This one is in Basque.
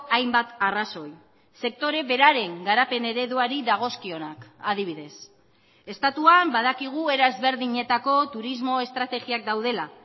hainbat arrazoi sektore beraren garapen ereduari dagozkionak adibidez estatuan badakigu era ezberdinetako turismo estrategiak daudela